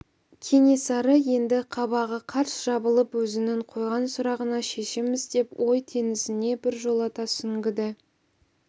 кенесары енді қабағы қарс жабылып өзінің қойған сұрағына шешім іздеп ой теңізіне біржолата сүңгіді